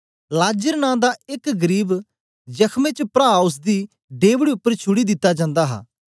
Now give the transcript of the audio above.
लाजर नां दा एक गरीब जख्मे च प्रा ओसदी डेवढ़ी उपर छुड़ी दिता जन्दा हा